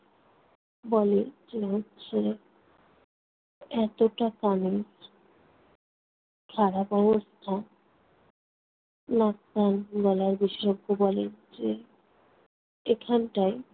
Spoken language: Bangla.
বলে যে হচ্ছে এতটা কানের খারাপ অবস্থা নাক-কান-গলার বিশেষজ্ঞ বলেন যে এখানটায়